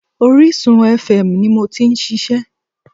Orísun fm ni mo ti n ṣiṣẹ́